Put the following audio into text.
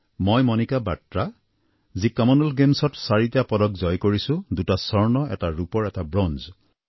মই মণিকা বাট্ৰা যি কমনৱেলথ গেমছত চাৰিটা পদক জয় কৰিছোঁ দুটা স্বৰ্ণৰ এটা ৰূপৰ আৰু এটা ব্ৰঞ্জ